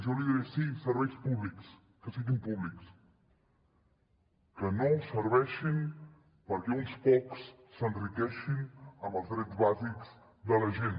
jo li diré sí serveis públics que siguin públics que no serveixin perquè uns pocs s’enriqueixin amb els drets bàsics de la gent